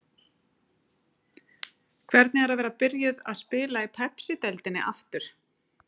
Hvernig er að vera byrjuð að spila í Pepsideildinni aftur?